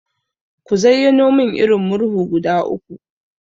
Ka zayyano mun irin Murhu guda uku?